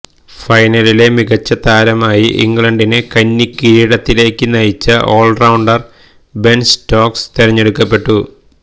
ഫൈനലിലെ മികച്ച താരമായി ഇംഗ്ലണ്ടിനെ കന്നി കിരീടത്തിലേക്ക് നയിച്ച ഓൾ റൌണ്ടർ ബെൻ സ്റ്റോക്ക്സ് തെരഞ്ഞെടുക്കപ്പെട്ടു